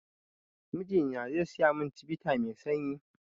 Mijina zai siya mun chivita mai sanyi